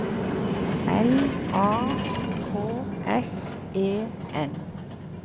L A K S E N